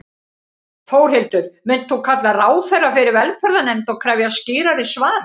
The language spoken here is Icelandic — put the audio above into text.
Þórhildur: Munt þú kalla ráðherra fyrir velferðarnefnd og krefjast skýrari svara?